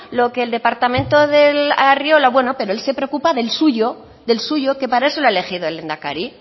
lo que el departamento de arriola bueno pero él se preocupa del suyo que para eso le ha elegido el lehendakari